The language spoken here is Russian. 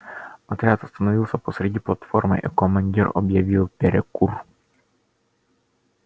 отряд остановился посереди платформы и командир объявил перекур